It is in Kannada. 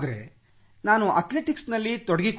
ನಾನು ಅಥ್ಲೆಟಿಕ್ಸ್ ನಲ್ಲಿ ತೊಡಗಿಕೊಂಡೆ